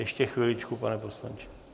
Ještě chviličku, pane poslanče.